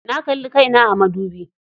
Na kalli kai na a madubi.